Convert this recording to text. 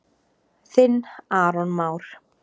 Þinn Aron Már.